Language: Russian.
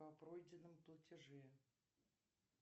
о пройденном платеже